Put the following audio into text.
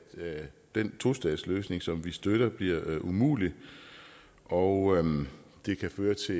den tostatsløsning som vi støtter bliver umulig og det kan føre til